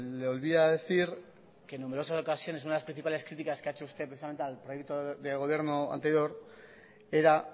le olvida decir que en numerosas ocasiones una de las principales críticas que ha hecho usted precisamente al proyecto del gobierno anterior era